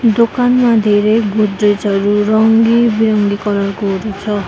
दोकानमा धेरै गोद्रेज हरु रङ्गी बिरङ्गी कलर को छ।